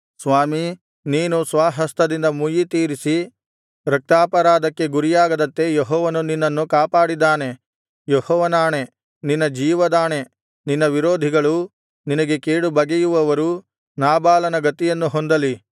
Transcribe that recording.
ಸ್ವಾಮೀ ನೀನು ಸ್ವಹಸ್ತದಿಂದ ಮುಯ್ಯಿ ತೀರಿಸಿ ರಕ್ತಾಪರಾಧಕ್ಕೆ ಗುರಿಯಾಗದಂತೆ ಯೆಹೋವನು ನಿನ್ನನ್ನು ಕಾಪಾಡಿದ್ದಾನೆ ಯೆಹೋವನಾಣೆ ನಿನ್ನ ಜೀವದಾಣೆ ನಿನ್ನ ವಿರೋಧಿಗಳೂ ನಿನಗೆ ಕೇಡು ಬಗೆಯುವವರೂ ನಾಬಾಲನ ಗತಿಯನ್ನು ಹೊಂದಲಿ